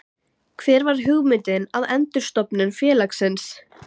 Hver var hugmyndin að endurstofnun félagsins?